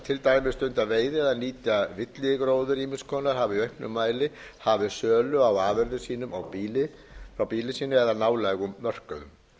til dæmis stunda veiði eða nýta villigróður ýmiss konar hafa í auknum mæli hafið sölu á afurðum sínum á býli sínu eða nálægum mörkuðum